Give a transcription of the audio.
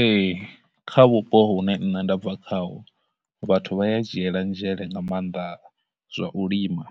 Ee, kha vhupo hune nṋe nda bva khaho, vhathu vha ya dzhiela nzhele nga mannḓa zwa u lima,